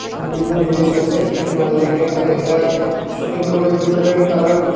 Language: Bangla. বিভিন্ন জিনিস আছে কেনার লাইগা আর এটা শপিংমলের ভেতরের কালার --